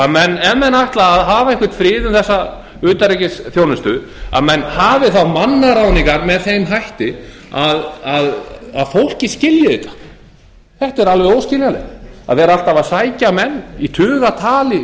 að menn ef menn ætla að hafa einhvern frið um þessa utanríkisþjónustu að menn hafi þá mannaráðningar með þeim hætti að fólkið skilji þetta þetta er alveg óskiljanlegt að vera alltaf að sækja menn í tugatali inn